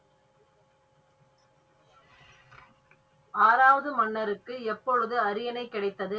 ஆறாவது மன்னருக்கு எப்போது அரியணை கிடைத்தது?